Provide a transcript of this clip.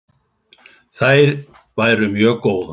Þær væru mjög góðar.